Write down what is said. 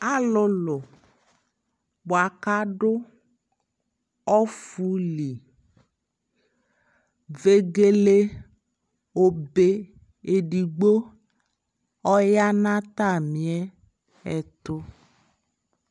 alʋlʋ bʋaka adʋ ɔƒʋli, vɛgɛlɛ ɔbɛ ɛdigbɔ ɔyanʋ atami ɛtʋ